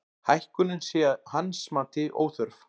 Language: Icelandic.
Hækkunin sé að hans mati óþörf